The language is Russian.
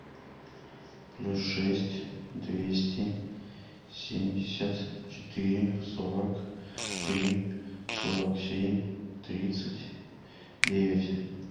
плюс шесть двести семьдесят четыре сорок три сорок семь тридцать девять